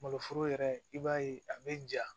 Maloforo yɛrɛ i b'a ye a be ja